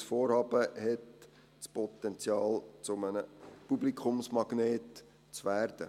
Das Vorhaben hat das Potenzial, zu einem Publikumsmagnet zu werden.